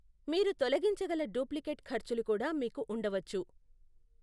మీరు తొలగించగల డూప్లికేట్ ఖర్చులు కూడా మీకు ఉండవచ్చు.